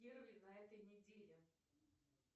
первый на этой неделе